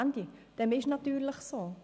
» Dem ist natürlich so.